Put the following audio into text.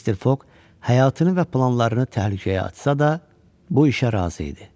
Mister Foq həyatını və planlarını təhlükəyə açsa da, bu işə razı idi.